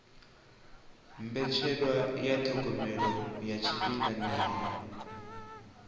mbetshelwa ya thogomelo ya tshifhinganyana